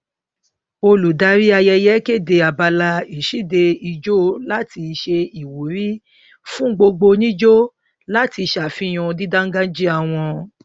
olùdarí ayẹyẹ kéde abala ìṣíde ìjó láti ṣe ìwúrí fún gbogbo onijó láti ṣàfihàn dídáńgájíá wọn